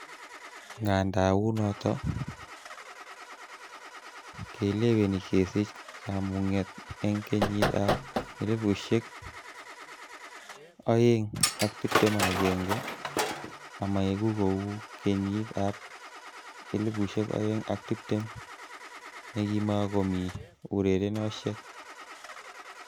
Ngandaa unot, keleweni kesich kama'ngunet eng kenyit ab 2021 amaegu ku kenyit ab 2020 nekimakomi urerenoshek.